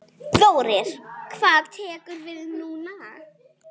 Þórir: Hvað tekur við núna?